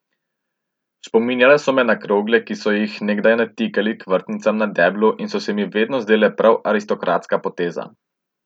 Spominjale so me na krogle, ki so jih nekdaj natikali k vrtnicam na deblu in so se mi vedno zdele prav aristokratska poteza.